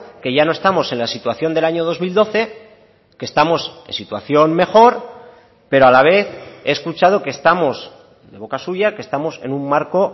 que ya no estamos en la situación del año dos mil doce que estamos en situación mejor pero a la vez he escuchado que estamos de boca suya que estamos en un marco